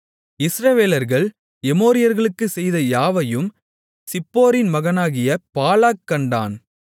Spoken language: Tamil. இஸ்ரவேலர்கள் எமோரியர்களுக்குச் செய்த யாவையும் சிப்போரின் மகனாகிய பாலாக் கண்டான்